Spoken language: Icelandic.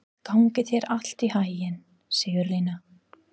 Gangi þér allt í haginn, Sigurlína.